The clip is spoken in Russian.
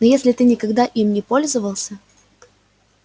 но если ты никогда им не пользовался